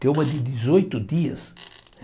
Tem uma de dezoito dias.